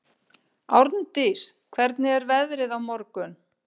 Árndís, hvernig er veðrið á morgun?